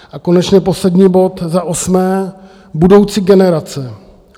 A konečně poslední bod za osmé - budoucí generace.